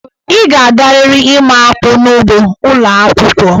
Ị ga-agarịrị ịma akpụ n'ugbo ụlọ akwụkwo.